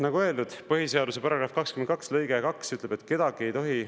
Nagu öeldud, põhiseaduse § 22 lõige 2 ütleb, et kedagi ei tohi …